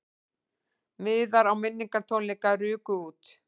Miðar á minningartónleika ruku út